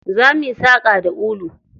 Zo muyi saƙa da ulu.